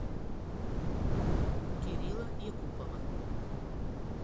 кирилла якупова